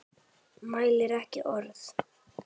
Mælir ekki orð.